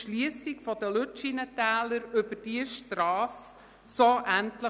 Ich wünsche Ihnen eine gute Heimkehr und einen schönen Abend.